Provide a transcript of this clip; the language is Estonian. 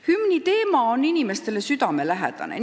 Hümniteema on inimestele südamelähedane.